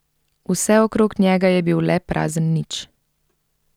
Vse okrog njega je bil le prazen nič.